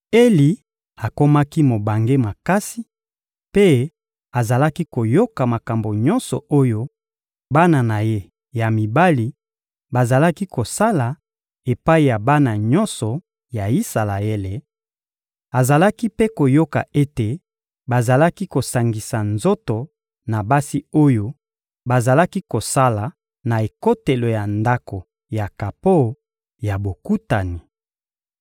Eli akomaki mobange makasi, mpe azalaki koyoka makambo nyonso oyo bana na ye ya mibali bazalaki kosala epai ya bana nyonso ya Isalaele; azalaki mpe koyoka ete bazalaki kosangisa nzoto na basi oyo bazalaki kosala na ekotelo ya Ndako ya kapo ya Bokutani.